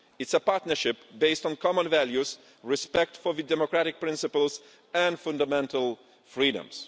It is a partnership based on common values, and respect for democratic principles and fundamental freedoms.